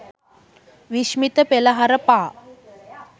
විශ්මිත පෙළහර පා